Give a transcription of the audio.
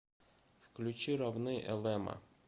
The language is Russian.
включи равны элэма